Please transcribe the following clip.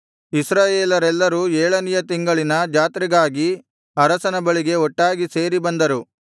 ಇಸ್ರಾಯೇಲರೆಲ್ಲರೂ ಏಳನೆಯ ತಿಂಗಳಿನ ಜಾತ್ರೆಗಾಗಿ ಅರಸನ ಬಳಿಗೆ ಒಟ್ಟಾಗಿ ಸೇರಿ ಬಂದರು